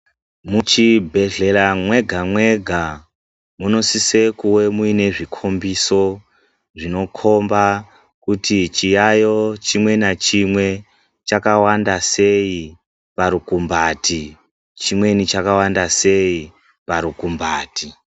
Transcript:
Mu chibhedhlera mwega mwega muno sise kuve muine zvikombeso zvinokomba kuti chiyayiyo chimwe na chimwe chakawanda sei pa rukumbati chimweni chakawanda sei pa rukumbati.